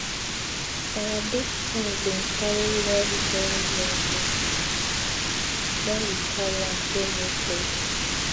our big cow bin cary well well well well when we carry am go new place